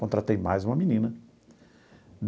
Contratei mais uma menina.